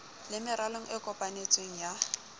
le meralong e kopantsweng ya